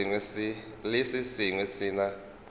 le se sengwe se na